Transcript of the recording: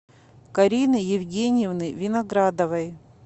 карины евгеньевны виноградовой